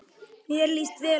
Mér líst vel á þá.